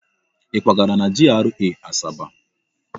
Ị kwagara na GRA Asaba?